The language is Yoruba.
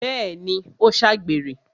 Bẹ́ẹ̀ni, ó ṣàgbèrè